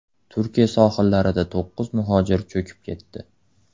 Turkiya sohillarida to‘qqiz muhojir cho‘kib ketdi.